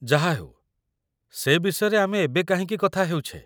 ଯାହାହେଉ, ସେ ବିଷୟରେ ଆମେ ଏବେ କାହିଁକି କଥା ହେଉଛେ?